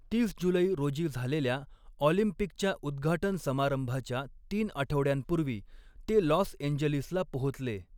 तीस जुलै रोजी झालेल्या ऑलिम्पिकच्या उद्घाटन समारंभाच्या तीन आठवड्यांपूर्वी ते लॉस एंजेलिसला पोहोचले.